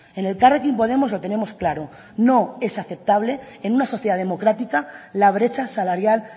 en elkarrekin podemos lo tenemos claro no es aceptable en una sociedad democrática la brecha salarial